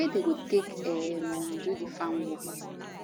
wey dem go take um do di farm work